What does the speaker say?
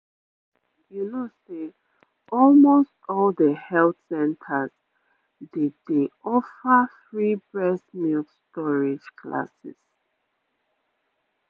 you know say almost all the health centers dey dey offer free breast milk storage classes